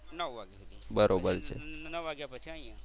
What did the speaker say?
નવ વાગ્યા સુધી. નવ વાગ્યા પછી અહિયાં.